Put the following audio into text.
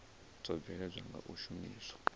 dzo bveledzwaho nga u shumiswa